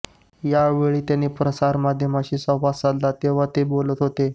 या वेळी त्यांनी प्रसारमाध्यमांशी संवाद साधला तेव्हा ते बोलत होते